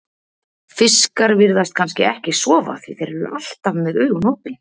Fiskar virðast kannski ekki sofa því þeir eru alltaf með augun opin.